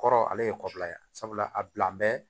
Kɔrɔ ale ye kɔrɔla ye sabula a bila bɛ